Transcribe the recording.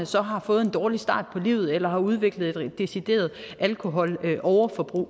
så har fået en dårlig start på livet eller har udviklet et decideret alkoholoverforbrug